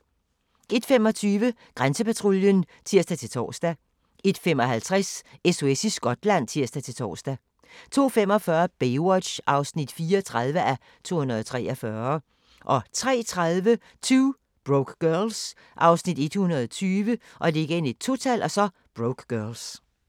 01:25: Grænsepatruljen (tir-tor) 01:55: SOS i Skotland (tir-tor) 02:45: Baywatch (34:243) 03:30: 2 Broke Girls (Afs. 120)